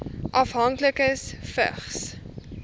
afhanklikes vigs